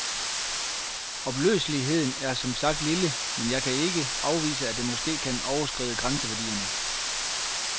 Opløseligheden er som sagt lille, men jeg kan ikke afvise, at det måske kan overskride grænseværdierne.